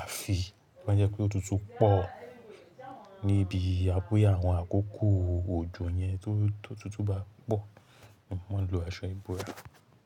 Àfi to bá jẹ́ pé òtútù pọ̀ níbi boya áwọn àkókò òjò yẹn tó totútù bá pọ̀, mò maa ń lo aṣọ ìbora.